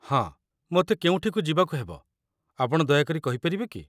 ହଁ, ମୋତେ କେଉଁଠିକୁ ଯିବାକୁ ହେବ, ଆପଣ ଦୟାକରି କହିପାରିବେ କି?